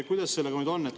Kuidas sellega on?